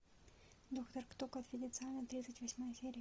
доктор кто конфиденциально тридцать восьмая серия